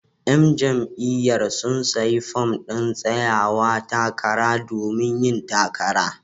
Yan jam'iyyar sun sayi fom din tsayawa takara domin yin takara.